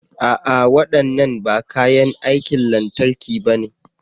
A'a! Waɗannan ba kayan aikin lantarki na bane.